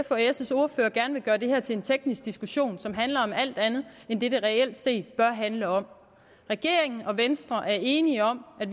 og s ordførere gerne vil gøre det her til en teknisk diskussion som handler om alt andet end det det reelt set bør handle om regeringen og venstre er enige om at